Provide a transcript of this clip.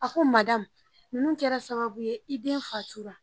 A ko madamu ninnu kɛra sababu ye i den fatura